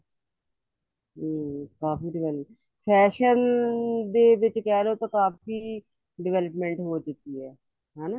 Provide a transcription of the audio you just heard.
ਹਮ ਕਾਫੀ develop fashion ਦੇ ਵਿੱਚ ਕਹਿਲੋ ਤਾਂ ਕਾਫੀ development ਹੋ ਚੁੱਕੀ ਹੈ ਹਨਾ